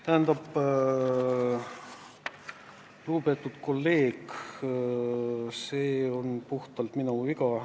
Tähendab, lugupeetud kolleeg, see on puhtalt minu viga.